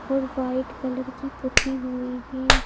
और white colour की पुती हुई हैं ।